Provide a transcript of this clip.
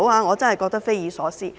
我真的覺得匪夷所思。